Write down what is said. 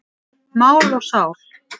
Mál og sál.